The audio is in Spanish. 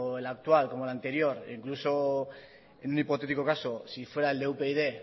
el actual como el anterior e incluso en un hipotético caso si fuera el de upyd